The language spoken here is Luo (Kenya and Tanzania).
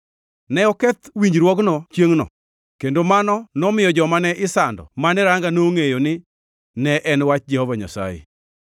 Ne oketh winjruokno chiengʼno, kendo mano nomiyo joma ne isando mane ranga nongʼeyo ni ne en wach Jehova Nyasaye.